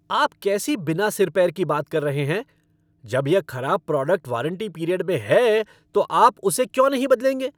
आप कैसी बिना सिर पैर की बात कर रहे हैं? जब यह खराब प्रोडक्ट वारंटी पीरियड में है तो आप उसे क्यों नहीं बदलेंगे?